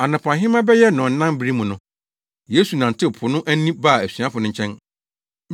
Anɔpahema bɛyɛ nnɔnnan bere mu no, Yesu nantew po no ani baa asuafo no nkyɛn.